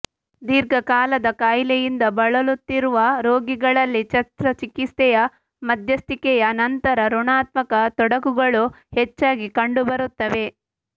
ದೀರ್ಘಕಾಲದ ಕಾಯಿಲೆಯಿಂದ ಬಳಲುತ್ತಿರುವ ರೋಗಿಗಳಲ್ಲಿ ಶಸ್ತ್ರಚಿಕಿತ್ಸೆಯ ಮಧ್ಯಸ್ಥಿಕೆಯ ನಂತರ ಋಣಾತ್ಮಕ ತೊಡಕುಗಳು ಹೆಚ್ಚಾಗಿ ಕಂಡುಬರುತ್ತವೆ